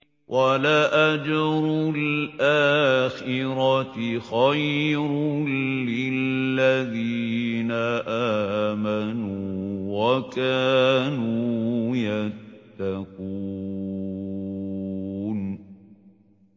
وَلَأَجْرُ الْآخِرَةِ خَيْرٌ لِّلَّذِينَ آمَنُوا وَكَانُوا يَتَّقُونَ